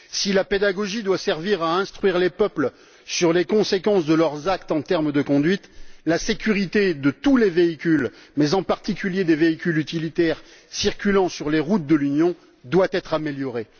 Si la pédagogie doit servir à instruire les peuples sur les conséquences de leurs actes en termes de conduite, la sécurité de tous les véhicules mais, en particulier, des véhicules utilitaires circulant sur les routes de l'Union doit être améliorée.